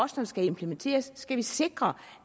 så skal implementeres skal vi sikre